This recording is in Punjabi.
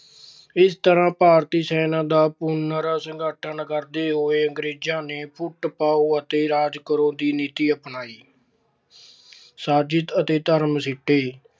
ਇਸ ਤਰ੍ਹਾਂ ਭਾਰਤੀ ਸੈਨਾ ਦਾ ਪੁਨਰ ਸੰਗਠਨ ਕਰਦੇ ਹੋਏ ਅੰਗਰੇਜਾਂ ਨੇ ਫੁੱਟ ਪਾਉ ਅਤੇ ਰਾਜ ਕਰੋ ਦੀ ਨੀਤੀ ਅਪਣਾਈ। ਭਾਰਤੀਆਂ ਨੂੰ ਨੌਕਰੀਆਂ ਦੇਣ ਦੇ ਵਚਨ